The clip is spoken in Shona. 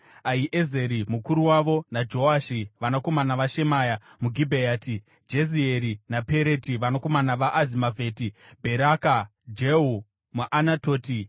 Ahiezeri, mukuru wavo, naJoashi, vanakomana vaShemaya muGibheati; Jezieri naPereti vanakomana vaAzimavheti; Bheraka, Jehu muAnatoti,